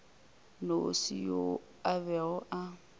nnoši yo a bego a